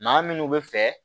Maa minnu bɛ fɛ